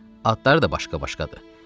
Adları da başqa-başqadır.